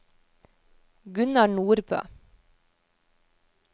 Gunnar Nordbø